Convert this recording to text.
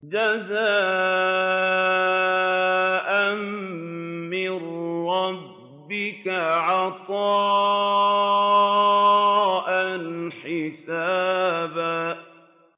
جَزَاءً مِّن رَّبِّكَ عَطَاءً حِسَابًا